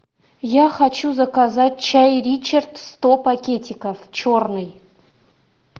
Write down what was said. я хочу заказать чай ричард сто пакетиков черный